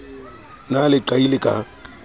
na le leqai le ka